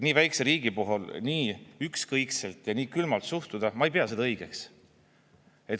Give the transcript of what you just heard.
Nii väikese riigi puhul nii ükskõikselt ja nii külmalt suhtuda – ma ei pea seda õigeks.